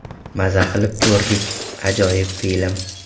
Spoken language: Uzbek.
Maza qilib ko‘rdik, ajoyib film.